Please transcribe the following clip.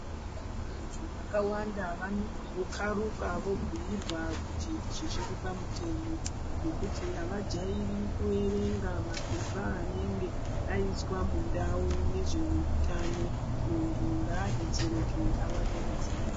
Vantu vakawanda vanozokharuka voobhuirwa kuti izvi zviri pamutemo ngekuti avajairi kuerenga mapepa anenge aiswa mundau nezveutano. Muntu ngaadetsereke awane ruzivo.